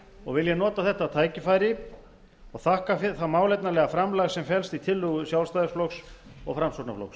og vil ég nota þetta tækifæri og þakka það málefnalega framlag sem felst í tillögu sjálfstæðisflokks og framsóknarflokks